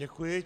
Děkuji.